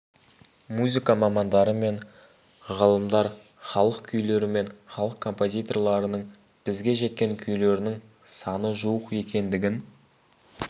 музыка мамандары мен ғалымдар халық күйлері мен халық композиторларының бізге жеткен күйлерінің саны жуық екендігін